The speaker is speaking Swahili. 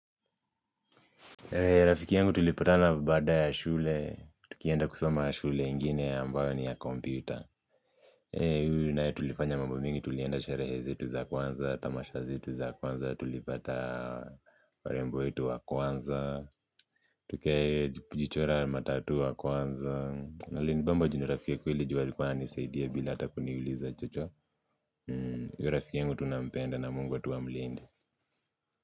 Rafiki yangu tulipatana baada ya shule, tukienda kusoma ya shule ingine ambayo ni ya computer mimi naye tulifanya mambo mingi tulienda sherehe zetu za kwanza, tamasha zetu za kwanza, tulipata warembo wetu wa kwanza. Tukee jichora matattoo wa kwanza, na lini nibamba juu ni rafiki ya kweli juu alikuwa ananisaidia bila hata kuniuliza chocho rafiki yangu tunampenda na mungu tu amlinde.